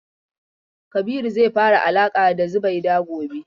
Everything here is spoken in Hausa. Kabiru zai fara alaƙa da Zubaida gobe.